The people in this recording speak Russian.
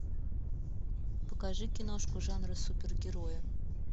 покажи киношку жанра супергерои